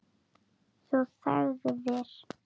Þú þagðir.